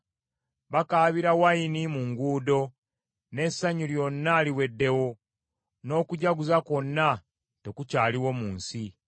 Bakaabira envinnyo mu nguudo, n’essanyu lyonna liweddewo, n’okujaguza kwonna tekukyaliwo mu nsi.